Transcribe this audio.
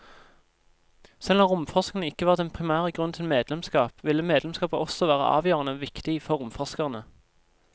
Selv om romforskning ikke var den primære grunnen til medlemskap, ville medlemskapet også være avgjørende viktig for romforskerne.